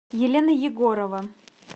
елена егорова